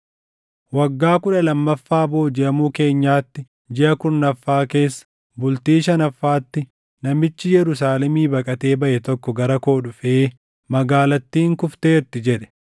Waggaa kudha lammaffaa boojiʼamuu keenyaatti, jiʼa kurnaffaa keessa, bultii shanaffaatti, namichi Yerusaalemii baqatee baʼe tokko gara koo dhufee, “Magaalattiin kufteerti!” jedhe.